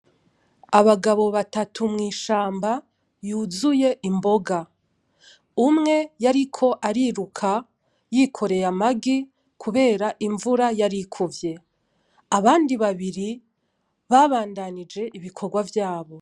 Abagabo batatu mw'ishamba yuzuye imboga, umwe yariko ariruka yikoreye amagi kubera imvura yarikuvye, abandi babiri babandanije ibikorwa vyabo.